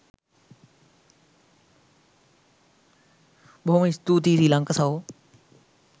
බොහොම ස්තූතියි තිලංක සහෝ